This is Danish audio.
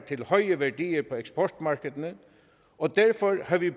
til høje værdier på eksportmarkederne og derfor har vi